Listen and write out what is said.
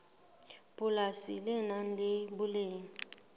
polasi le nang le boleng